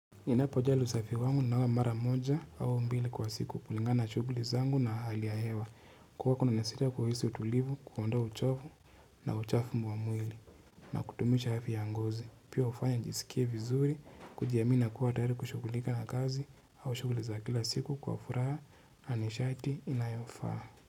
Ninapojali usafi wangu nanawa mara moja au mbili kwa siku kulingana shughuli zangu na hali ya hewa kwa kuna neseti ya kuhisi utulivu, kuondoa uchovu na uchafu mwa mwili na kudumisha afya ya ngozi pia hufanya nijisikie vizuri kujiamini na kuwa tayari kushughulika na kazi au shughuli za kila siku kwa furaha na nishati inayofaa.